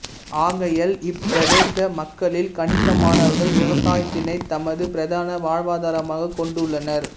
அகையால் இப்பிரதேச மக்களில் கணிசமானவர்கள் விவசாயத்தினை தமது பிரதான வாழ்வாதரமாகக் கொண்டுள்ளனர்